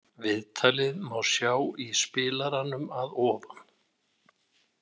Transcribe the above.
Viðtalið má sjá í spilaranum að ofan.